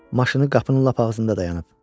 Maşını qapının lap ağzında dayanıb.